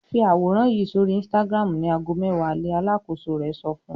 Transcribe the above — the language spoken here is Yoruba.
"Fi àwòrán yìí sórí Instagram ní ago mẹ́wàá alẹ́!" Alákòóso rẹ̀ sọ fún un.